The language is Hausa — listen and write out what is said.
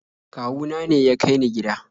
kawuna ne ya kai ni gida